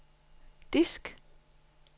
disk